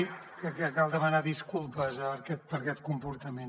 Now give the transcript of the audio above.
dir que cal demanar disculpes per aquest comportament